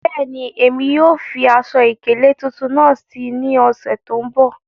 Bẹ́ẹ̀ni, emi yóò fi aṣọ-ikele tuntun naá sí ní òṣè tó nbọ̀.